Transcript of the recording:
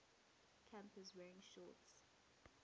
campus wearing shorts